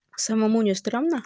самому не стрёмно